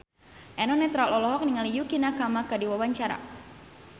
Eno Netral olohok ningali Yukie Nakama keur diwawancara